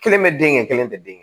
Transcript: Kelen bɛ den kɛ kelen tɛ den